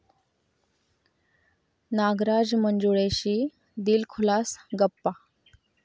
नागराज मंजुळेशी दिलखुलास गप्पा